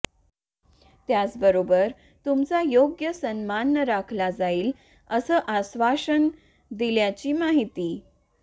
त्याच बरोबर तुमचा योग्य सन्मान राखला जाईल अस अश्वासन दिल्याची माहिती